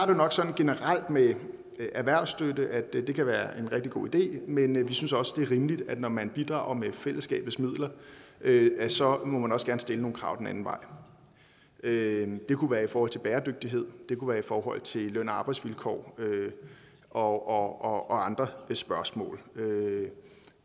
jo nok sådan generelt med erhvervsstøtte at det kan være en rigtig god idé men vi synes også det er rimeligt at når man bidrager med fællesskabets midler så må man også gerne stille nogle krav den anden vej det kunne være i forhold til bæredygtighed det kunne være i forhold til løn og arbejdsvilkår og andre spørgsmål